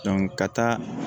ka taa